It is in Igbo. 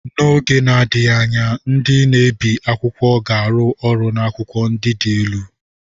N'oge na-adịghị anya, ndị na-ebi akwụkwọ ga-arụ ọrụ na akwụkwọ ndị dị elu.